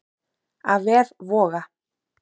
Af vef Voga